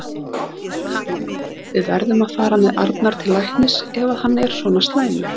Kamilla, við verðum að fara með Arnar til læknis ef hann er svona slæmur.